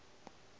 ge e ka ba ga